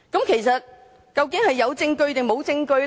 其實，究竟是有證據還是沒有證據？